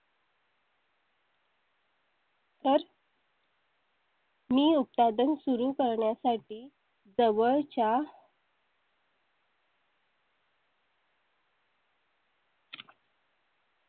तर . मी उत्पादन सुरू करण्यासाठी जवळच्या.